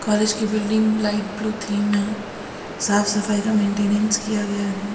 College की building light blue theme में है साफ सफाई का मेंटेनेंस किया गया है।